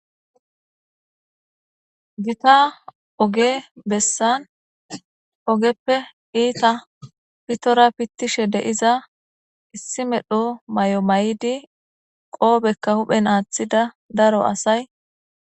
Gita oge bessan ogeppe iita pitora pittishe deiza issi medho may'o may'idi qoobekka huphen aaththida daro asay.